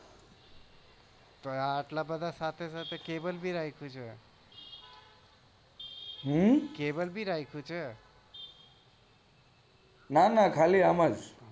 તો એટલા બધા સાથે સાથે cable બી રાખ્યું છે ના ના બસ આમજ